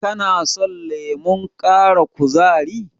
Kano son lemon ƙara kuzari?